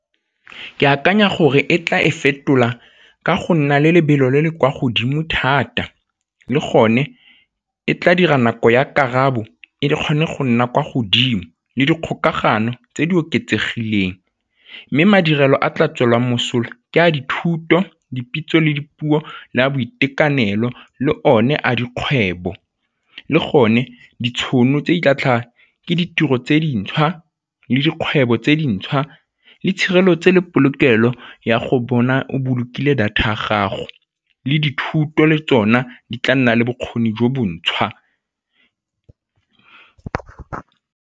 Ke akanya gore e tla e fetola ka go nna le lebelo le le kwa godimo thata le gone e tla dira nako ya karabo e di kgone go nna kwa godimo le dikgokagano tse di oketsegileng mme madirelo a tla tswelang mosola ke a dithuto, dipitso le dipuo le a boitekanelo le one a dikgwebo. Le gone, ditšhono tse di tla tlhaga ke ditiro tse dintšhwa le dikgwebo tse dintšhwa le tshireletso le polokelo ya go bona o bolokile data ya gago le dithuto le tsona di tla nna le bokgoni jo bontšhwa.